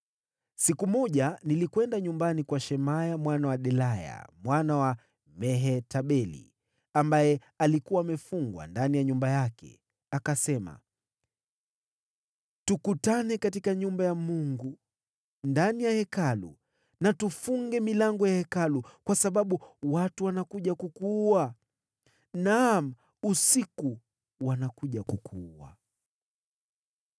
Siku moja nilikwenda nyumbani kwa Shemaya mwana wa Delaya, mwana wa Mehetabeli, ambaye alikuwa amefungwa ndani ya nyumba yake. Akasema, “Tukutane katika nyumba ya Mungu, ndani ya Hekalu, na tufunge milango ya Hekalu, kwa sababu watu wanakuja kukuua. Naam, wanakuja usiku kukuua.”